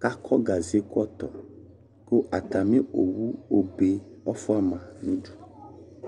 k' akɔ gaze–kɔtɔAtamɩ owu obe ɔfʋa ma nʋ udu